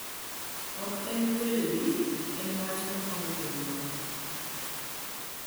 Oken Weledi, en wach ma konyo jonyuol'